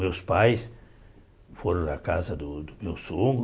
Meus pais foram da casa do do meu sogro.